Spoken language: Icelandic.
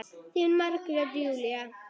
Þín Margrét Júlía.